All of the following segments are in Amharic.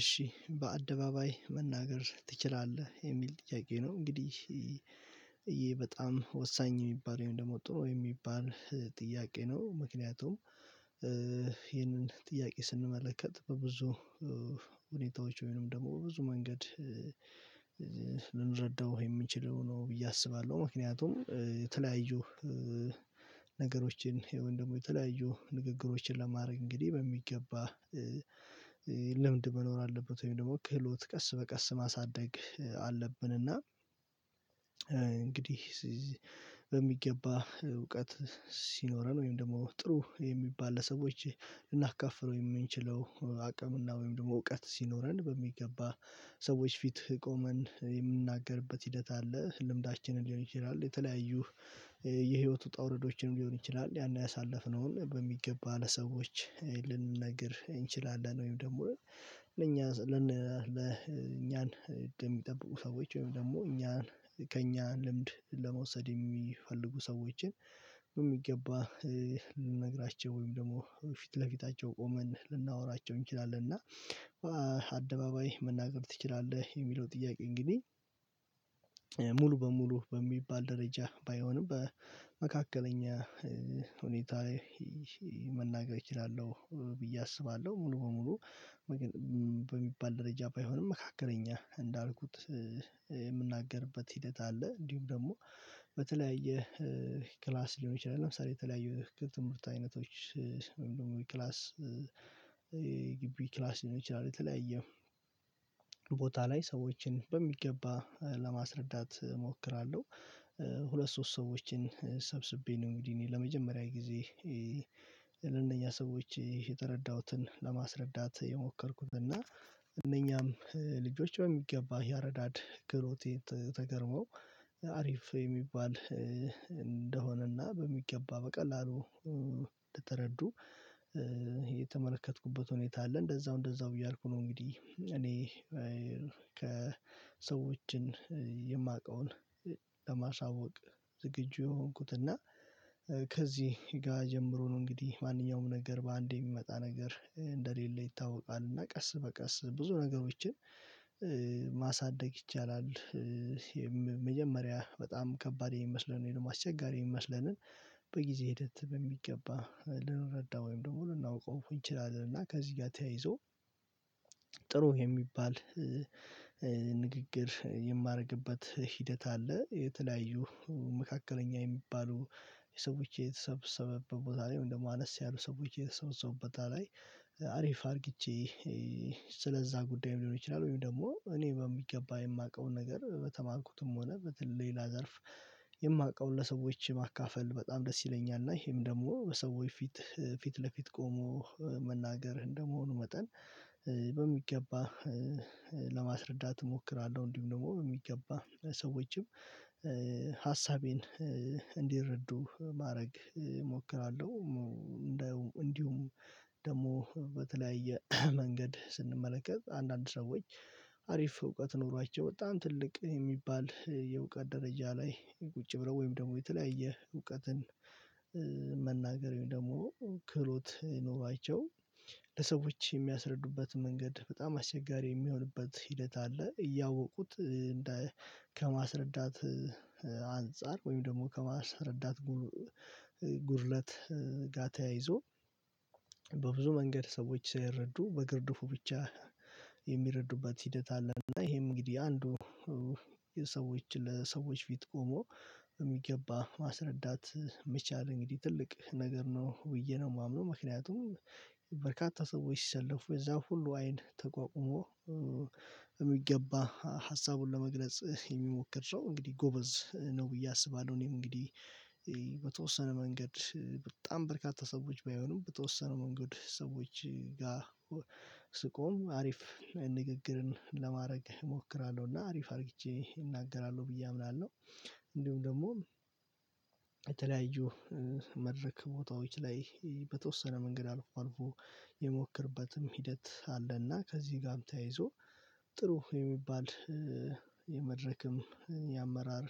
እሺ በአደባባይ መናገር ትችላለህ የሚል ጥያቄ ነው እንግዲህ ይህ በጣም ወሳኝ የሚባለው ወይም ደግሞ ጥሩ የሚባል ጥያቄ ነው። ምክንያቱም ይሄንን ጥያቄ ስንመለከት በብዙ ሁኔታዎች ወይንም ደግሞ ብዙ መንገድ ልንረዳው የምንችለው ነው ብዬ አስባለሁ። ምክንያቱም የተለያዩ ነገሮችን የወንድሙ የተለያዩ ንግግሮችን ለማድረግ እንግዲህ በሚገባ ለምንድን መኖር አለበት ወይም ደግሞ ክህሎት ቀስ በቀስ ማሳደግ አለብን። እና እንግዲህ በሚገባ እውቀት ሲኖረን ወይም ደግሞ ጥሩ የሚባል ለሰዎች የምንችለው አቅምና ወይም ደግሞ እውቀት ሲኖረን በሚገባ ሰዎች ፊት ቆመን የምንናገርበት ሂደት አለ። ልምዳችንን ሊሆን ይችላል የተለያዩ የህይወት ውጣ ውረዶችንም ሊሆን ይችላል ያን ያሳለፍነውን በሚገባ ለሰዎች ልንነግር እንችላለን። ወይም ደግሞ ለኛ ለኛን የሚጠብቁ ሰዎች ወይም ደግሞ እኛን ከእኛን ልምድ ለመውሰድ የሚፈልጉ ሰዎችን በሚገባ ልነግራቸው ወይም ደግሞ ፊት ለፊታቸው ቆመን ልናወራቸው እንችላለን እና አደባባይ መናገር ትችላለህ? የሚለው ጥያቄ እንግዲህ ሙሉ በሙሉ በሚባል ደረጃ ባይሆንም በመካከለኛ መናገር እችላለሁ ብዬ አስባለሁ። ሙሉ በሙሉ በሚባል ደረጃ ባይሆንም መካከለኛ እንዳልኩት የምናገርበት ሂደት አለ እንዲሁም ደግሞ በተለያየ ክላስ ሊሆን ይችላል ለምሳሌ የተለያዩ ትምህርት አይነቶች ክላስ ግቢ ክላስ ሊሆን ይችላል የተለያየ ቦታ ላይ ሰዎችን በሚገባ ለማስረዳት እሞክራለሁ። ሁለት ሶስት ሰዎችን ሰብስቤ ነው እንግዲህ እኔ ለመጀመሪያ ጊዜ ለእነኛ ሰዎች የተረዳሁትን ለማስረዳት የሞከርኩት እና እነኛም ልጆች በሚገባ ያረዳድ ክህሎቴ ተገርመው አሪፍ የሚባል እንደሆነና በሚገባ በቀላሉ እየተረዱ የተመለከትኩበት ሁኔታ አለ እንደዛው እንደዛው እያልኩ ነው። እንግዲህ እኔ ከሰዎችን የማውቀውን ለማሳወቅ ዝግጁ የሆንኩት እና ከዚህ ጋር ጀምሮ ነው እንግዲህ ማንኛውም ነገር በአንዴ የሚመጣ ነገር እንደሌለ ይታወቃል እና ቀስ በቀስ ብዙ ነገሮችን ማሳደግ ይቻላል። የመጀመሪያ በጣም ከባድ የሚመስለን እኔንም አስቸጋሪ የሚመስለንን በጊዜ ሂደት በሚገባ ልንረዳ ወይም ደግሞ ልናውቀው እንችላለን እና ከዚህ ጋር ተያይዞ ጥሩ የሚባል ንግግር የማደርግበት ሂደት አለ። የተለያዩ መካከለኛ የሚባሉ የሰዎች የተሰበሰበ ቦታ ላይ ወይም ደግሞ አነስ ያሉ ሰዎች የተሰበሰቡበት ቦታ ላይ አሪፍ አርግቼ ስለዛ ጉዳይ ሊሆን ይችላል ወይም ደግሞ እኔ በሚገባ የማውቀውን ነገር በተማኩትም ሆነ በተለይ ላዘርፍ የማውቀውን ለሰዎች ማካፈል በጣም ደስ ይለኛል። እና ይሄም ደግሞ በሰዎች ፊት ፊት ለፊት ቆሞ መናገር እንደመሆኑ መጠን በሚገባ ለማስረዳት እሞክራለሁ እንዲሁም ደግሞ በሚገባ ሰዎችም ሀሳቤን እንዲረዱ ማድረግ እሞክራለሁ። እንደውም እንዲሁም ደግሞ በተለያየ መንገድ ስንመለከት አንዳንድ ሰዎች አሪፍ እውቀት ኖሯቸው በጣም ትልቅ የሚባል የእውቀት ደረጃ ላይ ቁጭ ብለው ወይም ደግሞ የተለያየ እውቀትን መናገር ወይም ደግሞ ክህሎት ኖሯቸው ለሰዎች የሚያስረዱበት መንገድ በጣም አስቸጋሪ የሚሆንበት ሂደት አለ። እያወቁት ከማስረዳት አንፃር ወይም ደግሞ ከማስረዳት ጉርለት ጋ ተያይዞ በብዙ መንገድ ሰዎች ሳይረዱ በግርድፉ ብቻ ሂደት አለ። እና ይሄም እንግዲህ አንዱ የሰዎች ለሰዎች ፊት ቆሞ የሚገባ ማስረዳት የሚቻል እንግዲህ ትልቅ ነገር ነው። ውይይት ነው የማምነው ምክንያቱም ሰዎች ሲሰለፉ የዛ ሁሉ አይን ተቋቁሞ የሚገባ ሀሳቡን ለመግለጽ የሚሞክር ሰው እንግዲህ ጎበዝ ነው ብዬ አስባለሁ። እኔም እንግዲህ በተወሰነ መንገድ በጣም በርካታ ሰዎች ባይሆኑም በተወሰኑ መንገድ ሰዎች ጋር ስቆም አሪፍ ንግግርን ለማድረግ እሞክራለሁ እና አሪፍ አድርቼ እናገራለሁ ብዬ አምናለሁ። እንዲሁም ደግሞ የተለያዩ መድረክ ቦታዎች ላይ በተወሰነ መንገድ አልፎ አልፎ የሞከርበትም ሂደት አለና ከዚህ ጋርም ተያይዞ ጥሩ የሚባል የመድረክም የአመራር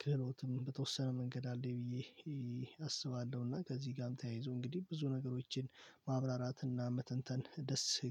ክህሎትም በተወሰነ መንገድ አለኝ ብዬ አስባለሁና። ከዚህ ጋርም ተያይዞ እንግዲህ ብዙ ነገሮችን ማብራራትና መተንተን ደስ